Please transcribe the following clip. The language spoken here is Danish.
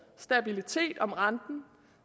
stabilitet om renten